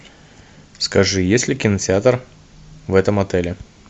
скажи есть ли кинотеатр в этом отеле